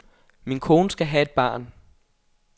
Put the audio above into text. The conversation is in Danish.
Min kone skal have et barn.